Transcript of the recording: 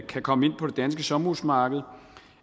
kan komme ind på det danske sommerhusmarked